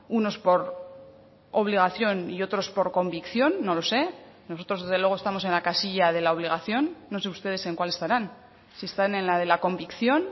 unos por obligación y otros por convicción no lo sé nosotros desde luego estamos en la casilla de la obligación no sé ustedes en cuál estarán si están en la de la convicción